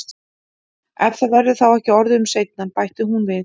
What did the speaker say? Ef það verður þá ekki orðið um seinan- bætti hún við.